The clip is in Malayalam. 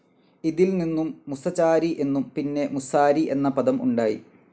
ഇതിൽ നിന്നും മുസചാരി എന്നും, പിന്നെ മുസാരി എന്ന പദം ഉണ്ടായി.